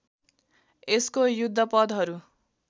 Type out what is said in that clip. यसको युद्धपदहरू